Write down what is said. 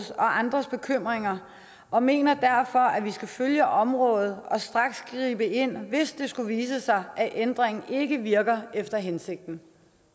andres bekymringer og mener derfor at vi skal følge området og straks gribe ind hvis det skulle vise sig at ændringen ikke virker efter hensigten